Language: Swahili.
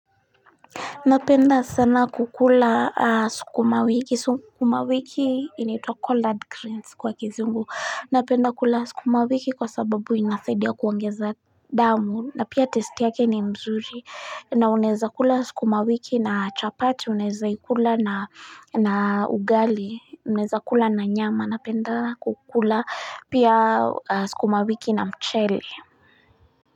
Napenda sana kukula sukuma wiki sukuma wiki inaitwa collard greens kwa kizungu napenda kula sukuma wiki kwa sababu inasaidia kuongeza damu na pia tasti yake ni mzuri na unaeza kula sukuma wiki na chapati unaeza ikula na na ugali unaeza kula na nyama napenda kukula pia sukuma wiki na mchele.